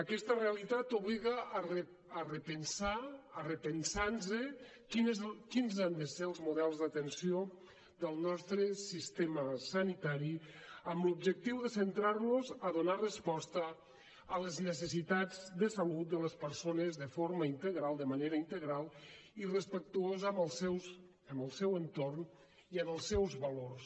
aquesta realitat obliga a repensar a repensar nos quins han de ser els models d’atenció del nostre sistema sanitari amb l’objectiu de centrar los a donar resposta a les necessitats de salut de les persones de forma integral de manera integral i respectuosa amb el seu entorn i amb els seus valors